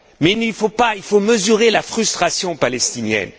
Mais il faut mesurer la frustration palestinienne.